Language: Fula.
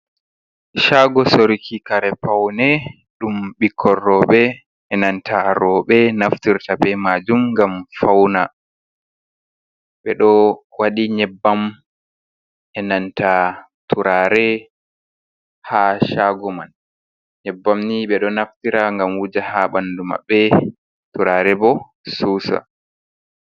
Shaago sorki kare paune ɗum ɓikkor rooɓe, e nanta roɓe naftirta be maajum ngam fauna. Ɓe ɗo waɗi nyebbam, e nanta turare haa shaago man. Nyebbam ni ɓe ɗo naftira ngam wuja haa ɓandu maɓɓe, turare bo susa.